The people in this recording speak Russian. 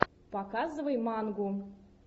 показывай мангу